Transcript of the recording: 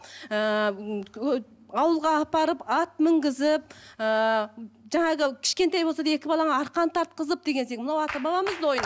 ыыы ауылға апарып ат мінгізіп ыыы жаңағы кішкентай болса да екі балаңа арқан тарқызып деген секілді мынау ата бабамыздың ойыны